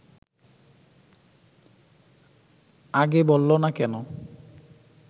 আগে বলল না কেন